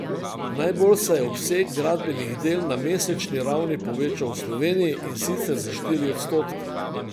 Najbolj se je obseg gradbenih del na mesečni ravni povečal v Sloveniji, in sicer za štiri odstotke.